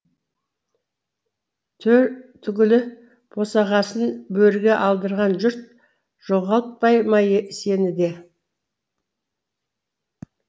төр түгілі босағасын бөріге алдырған жұрт жоғалтпай ма сені де